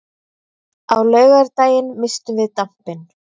Á laugardaginn misstum við dampinn.